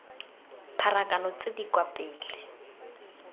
pharakano tse di kwa pele